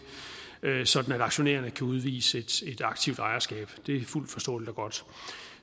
sådan at aktionærerne kan udvise et aktivt ejerskab det er fuldt forståeligt og godt